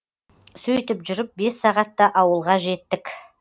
сөйтіп жүріп бес сағатта ауылға жеттік